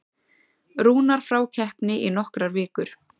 Rúnar frá keppni í nokkrar vikur